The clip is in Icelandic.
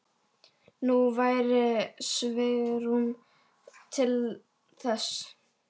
Nú væri svigrúm til þess.